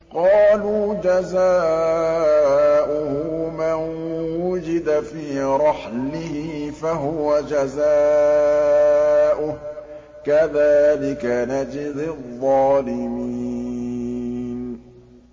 قَالُوا جَزَاؤُهُ مَن وُجِدَ فِي رَحْلِهِ فَهُوَ جَزَاؤُهُ ۚ كَذَٰلِكَ نَجْزِي الظَّالِمِينَ